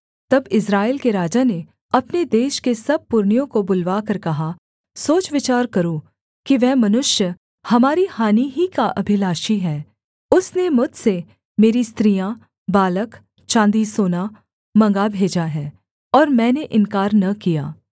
तब इस्राएल के राजा ने अपने देश के सब पुरनियों को बुलवाकर कहा सोच विचार करो कि वह मनुष्य हमारी हानि ही का अभिलाषी है उसने मुझसे मेरी स्त्रियाँ बालक चाँदी सोना मँगवा भेजा है और मैंने इन्कार न किया